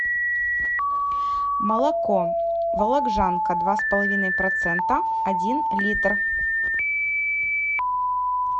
молоко вологжанка два с половиной процента один литр